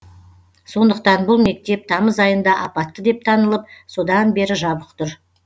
сондықтан бұл мектеп тамыз айында апатты деп танылып содан бері жабық тұр